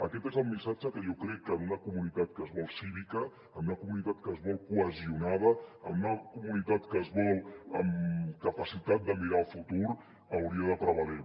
aquest és el missatge que jo crec que en una comunitat que es vol cívica en una comunitat que es vol cohesionada en una comunitat que es vol amb capacitat de mirar el futur hauria de prevaler